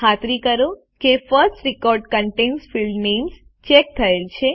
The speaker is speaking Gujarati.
ખાતરી કરો કે first record contains field names check થયેલ છે